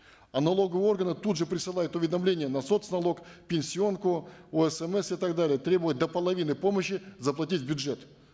а налоговые органы тут же присылают уведомления на соц налог пенсионку осмс и так далее требуя до половины помощи заплатить в бюджет